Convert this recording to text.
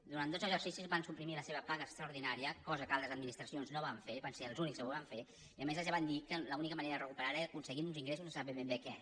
durant dos exercicis van suprimir la seva paga extraordinària cosa que altres administracions no van fer van ser els únics que ho van fer i a més els van dir que l’única manera de recuperar·la era aconseguint uns ingressos de no se sap ben bé què